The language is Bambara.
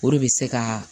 O de bɛ se ka